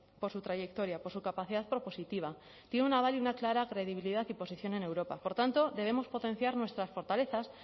por su trayectoria por su capacidad propositiva tiene un aval y una clara credibilidad y posición en europa por tanto debemos potenciar nuestras fortalezas